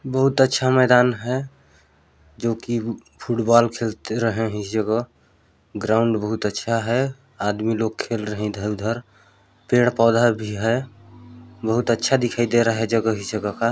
बहुत अच्छा मैदान है जो कि फुटबाल खेल रहे है इस जगह ग्राउंड बहुत अच्छा है आदमी लोग खेल रहे है इधर उधर पेड़ पौधा भी है बहुत अच्छा दिखाई दे रहा है जगह ही जगह का।